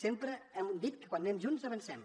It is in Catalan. sempre hem dit que quan anem junts avancem